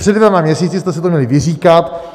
Před dvěma měsíci jste si to měli vyříkat.